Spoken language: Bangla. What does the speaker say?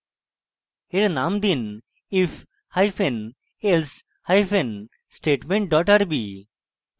এর name দিন if hyphen else hyphen statement dot rb